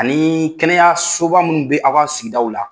Ani kɛnɛyasoba minnu bɛ aw ka sigidaw la.